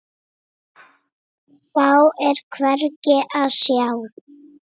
Þá er hvergi að sjá.